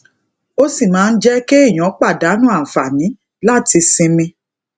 ó sì máa ń jé kéèyàn pàdánù àǹfààní láti sinmi